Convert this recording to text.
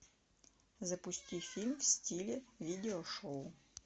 запусти фильм в стиле видеошоу